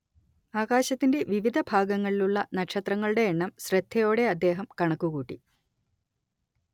ആകാശത്തിലെ വിവിധ ഭാഗങ്ങളിലുള്ള നക്ഷത്രങ്ങളുടെ എണ്ണം ശ്രദ്ധയോടെ അദ്ദേഹം കണക്കുകൂട്ടി